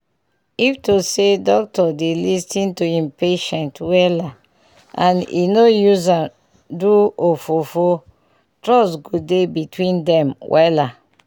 if to say doctor dey lis ten to him patient wella and e nor use am am do ofofofo trust go dey between dem wella